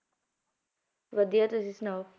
ਵਧੀਆ ਤੁਸੀ ਸੁਣਾਓ